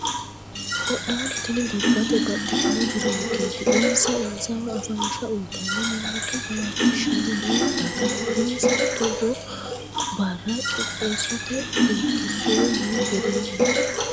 Qodhano tini gobbate baxxitino jironketi insa insawa afansha uyittanni mimmitto jawachishshani no daga insa togo bare qixxeesote irkisuro yee hedoommo.